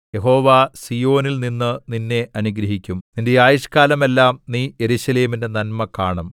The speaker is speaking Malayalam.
യഹോവ സീയോനിൽനിന്ന് നിന്നെ അനുഗ്രഹിക്കും നിന്റെ ആയുഷ്കാലമെല്ലാം നീ യെരൂശലേമിന്റെ നന്മ കാണും